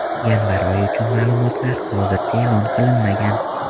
Yanvar oyi uchun ma’lumotlar hozircha e’lon qilinmagan.